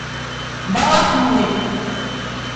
балахной